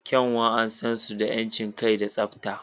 Kyanwa an san su da 'yancin kai da tsabta.